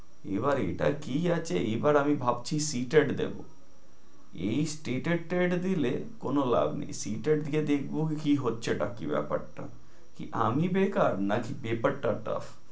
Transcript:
এবার এটা কি আছে, এবার আমি ভাবছি CTET দিবো। এই state ad এর টা দিলে কোনো লাভ নেই। CTET টা দিয়ে দেখবো কি হচ্ছে টা কি ব্যাপার টা। না আমি বেকার নাকি paper টা tuff ।